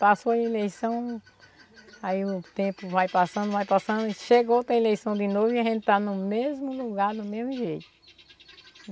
Passou a eleição, aí o tempo vai passando, vai passando, chegou outra eleição de novo e a gente está no mesmo lugar, do mesmo jeito.